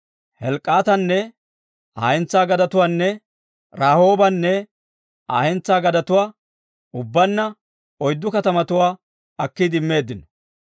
Helk'k'aatanne Aa hentsaa gadetuwaanne Rahoobanne Aa hentsaa gadetuwaa, ubbaanna oyddu katamatuwaa akkiide immeeddino.